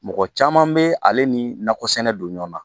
Mɔgɔ caman bɛ ale ni nakɔ sɛnɛ don ɲɔ na